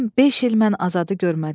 Tam beş il mən Azadı görmədim.